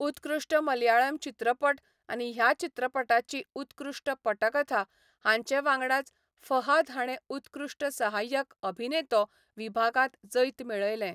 उत्कृश्ट मलयाळम चित्रपट आनी ह्या चित्रपटाची उत्कृश्ट पटकथा हांचे वांगडाच फहाद हाणें उत्कृश्ट सहाय्यक अभिनेतो विभागांत जैत मेळयलें.